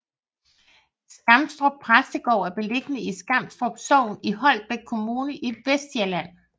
Skamstrup Præstegård er beliggende i Skamstrup Sogn i Holbæk Kommune i Vestsjælland